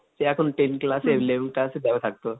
দিয়ে এখন ten class এ eleven class এ